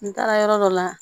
N taara yɔrɔ dɔ la